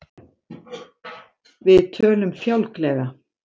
Við tölum fjálglega.